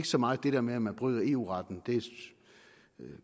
så meget det der med at man bryder eu retten det